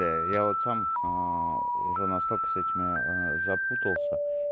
я вот сам уже настолько с этими запутался